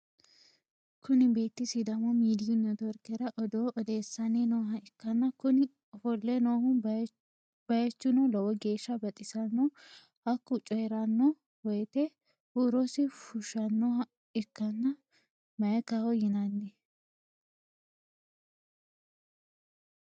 Kuni beetti sidamu midiyu networkera odoo odessanni nooha ikkanna kuni ofolle noo bayichino lowo geeshsa baxissanno. Hakku coyiranno woyite huurosi fushshannoha ikkanna mayikaho yinanni.